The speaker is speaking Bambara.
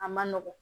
A man nɔgɔn